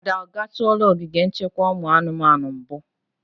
Ada, ọ gatụla ogige nchekwa ụmụ anụmanụ mbu?